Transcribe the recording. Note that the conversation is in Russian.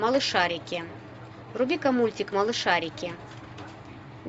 малышарики вруби ка мультик малышарики